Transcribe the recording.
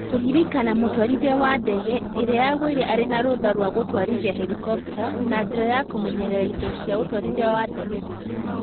Kũrerĩkana mũtwarithia wa ndege ĩrĩa yagũire arĩ na rũtha rwa gũtwarithia herikopta na njĩra ya kĩmenyerera indo cia ũtwarithia wa ndege tu